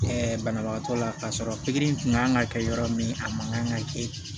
banabagatɔ la k'a sɔrɔ pikiri in tun ka kan ka kɛ yɔrɔ min a man kan ka kɛ